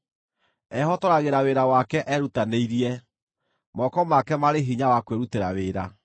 Ehotoragĩra wĩra wake erutanĩirie; moko make marĩ hinya wa kwĩrutĩra wĩra.